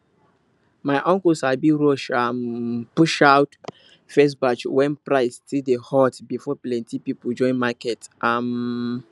my uncle sabi rush um push out first batch when price still dey hot before plenty people join market um